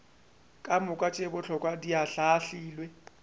kamoka tše bohlokwa di ahlaahlilwe